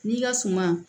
N'i ka suma